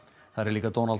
þar er einnig Donald